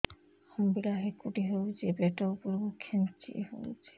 ଅମ୍ବିଳା ହେକୁଟୀ ହେଉଛି ପେଟ ଉପରକୁ ଖେଞ୍ଚି ହଉଚି